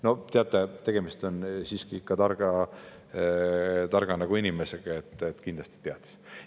No teate, tegemist on siiski targa inimesega, kindlasti ta teadis.